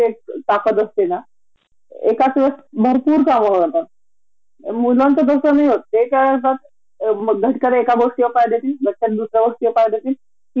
मला तर खरच कळत नाही आपण म्हणल खर तर किती मल्टीटास्किंग करतो घर सांभाळतो, मुलांना पाहतो, नवर्याला पाहतो, सासू सासरे असतात, माहेरचे असतात